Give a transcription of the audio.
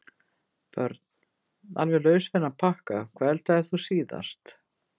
Börn: Alveg laus við þann pakka Hvað eldaðir þú síðast?